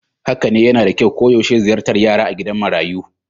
Haka ne, yana da kyau koyaushe ziyartar yara a gidan marayu